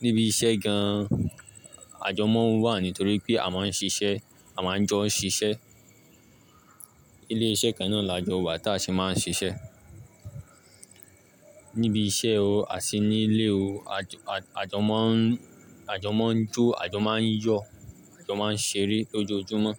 Níbi iṣẹ́ gan an, àjọ máa ń wà nítorí pé a máa ń ṣiṣẹ́, a máa ń jọ ṣiṣẹ́. Ilé iṣẹ́ kan náà la jọ wa tá a ṣe máa ń ṣiṣẹ́. Níbi iṣẹ́ o, àti nílé o, àjọ, àjọ máa ń, àjọ máa ń jó, àjọ máa ń yọ̀, àjọ máa ń ṣeré lójoojúmọ́